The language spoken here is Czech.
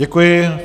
Děkuji.